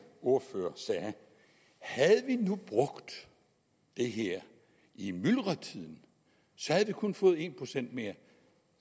ordfører sagde havde vi nu brugt det her i myldretiden så havde vi kun fået en procent mere